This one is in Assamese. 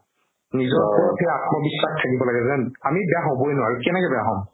নিজৰ ওপৰত সেই আত্মবিশ্বাস থাকিব লাগিব যেন আমি বেয়া হ'বৈ নোৱাৰু কেনেকে বেয়া হ'ম